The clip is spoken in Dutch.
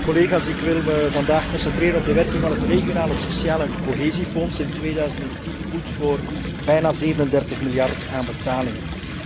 Collega's, ik wil me vandaag concentreren op de werking van het regionale, het sociale en het cohesiefonds in 2010, goed voor bijna 37 miljard aan betalingen.